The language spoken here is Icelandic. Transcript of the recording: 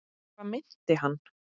Hvað meinti hann?